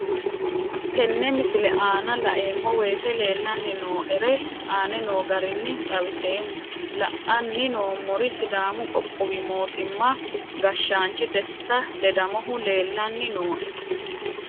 Tenne misile aana laeemmo woyte leelanni noo'ere aane noo garinni xawiseemmo. La'anni noomorri sidaamu qoqqowi mootima gashshaanchi desita ledamohu leelanni nooe.